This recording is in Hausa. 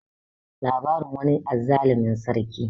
labarin wani azzalumin sarki